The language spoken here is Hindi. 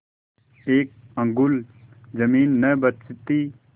एक अंगुल जमीन न बचती